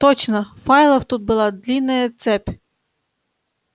точно файлов тут была длинная цепь